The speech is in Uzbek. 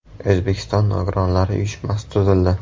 O‘zbekiston nogironlari uyushmasi tuzildi.